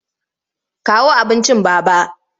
Kawo abincin Baba!